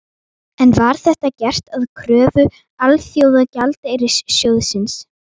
En var þetta gert að kröfu Alþjóðagjaldeyrissjóðsins?